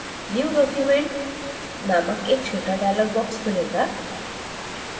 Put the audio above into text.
new document named एक छोटा dialog box खुलेगा